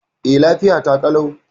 E, lafiya ta ƙalau.